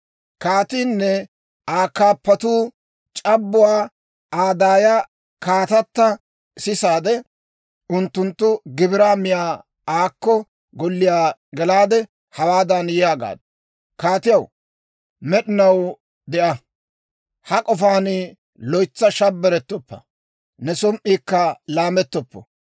Kaatiinne Aa kaappatuu c'abbuwaa Aa daaya kaatata sisaade, unttunttu gibiraa miyaa aakko golliyaa gelaade, hawaadan yaagaaddu; «Kaatiyaw, med'inaw de'a! Ha k'ofaan loytsa shabbarettoppa; ne som"iikka laamettoppo.